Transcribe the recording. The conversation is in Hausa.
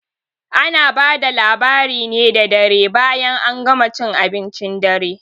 Ana bada labari ne da dare bayan an gama cin abincin dare